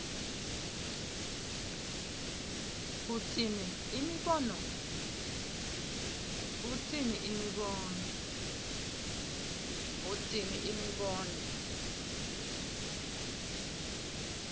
utsini imibono